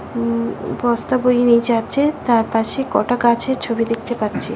ওম-ম বস্তা বইয়ে নিয়ে যাচ্ছে। তার পাশে কটা গাছের ছবি দেখতে পাচ্ছি ।